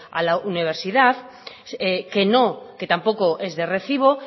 a la universidad que no que tampoco es de recibo